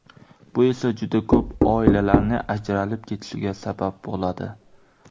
Bu esa juda ko‘p oilalarning ajralib ketishiga sabab bo‘ladi.